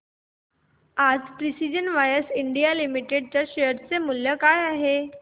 आज Precision Wires India Limited च्या share चे मूल्य काय आहे